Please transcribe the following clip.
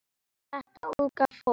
Þetta unga fólk.